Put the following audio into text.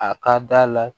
A ka d'a la